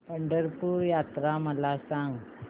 पंढरपूर यात्रा मला सांग